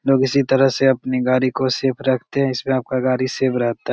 लोग इसी तरह से अपनी गाड़ी को सेफ रखते है। इसमे अपका गाड़ी सेव रहता --